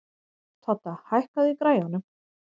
Todda, hækkaðu í græjunum.